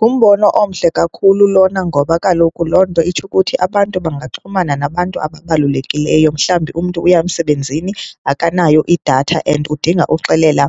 Ngumbono omhle kakhulu lona ngoba kaloku loo nto itsho ukuthi abantu bangaxhumana nabantu ababalulekileyo, mhlawumbi umntu uya emsebenzini akanayo idatha and udinga uxelela